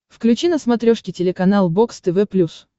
включи на смотрешке телеканал бокс тв плюс